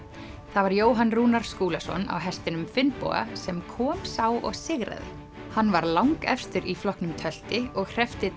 það var Jóhann Rúnar Skúlason á hestinum Finnboga sem kom sá og sigraði hann var langefstur í flokknum tölti og hreppti